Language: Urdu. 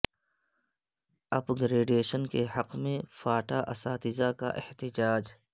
اپ گریڈیشن کے حق میں فاٹا اساتذہ کا احتجاج